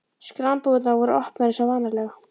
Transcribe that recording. Skranbúðirnar voru opnar eins og vanalega.